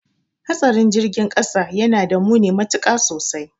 Hatsarin girgin kasa yanada muni matuka sosai